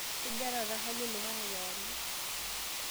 kejaa taata hali oloingange kewarie